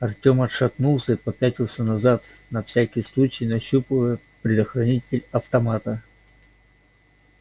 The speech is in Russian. артем отшатнулся и попятился назад на всякий случай нащупывая предохранитель автомата